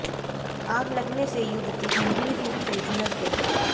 आग लगने से युवती गंभीर रूप से झुुलस गई